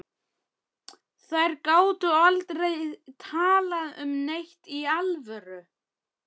Þær gátu aldrei talað um neitt í alvöru.